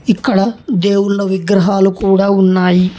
ఇక్కడ దేవుళ్ళ విగ్రహాలు కూడా ఉన్నాయి.